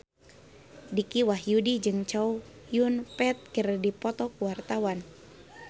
Dicky Wahyudi jeung Chow Yun Fat keur dipoto ku wartawan